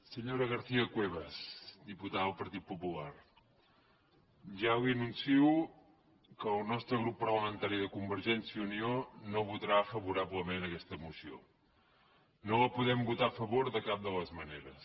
senyora garcia cuevas diputada del partit popular ja li anuncio que el nostre grup parlamentari de convergència i unió no votarà favorablement aquesta moció no la podem votar a favor de cap de les maneres